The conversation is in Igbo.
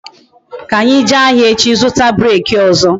Ka anyi jee ahịa echi zụta breeki ọzọ